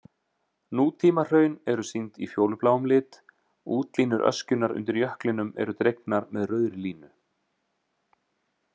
Nútímahraun eru sýnd í fjólubláum lit, útlínur öskjunnar undir jöklinum eru dregnar með rauðri línu.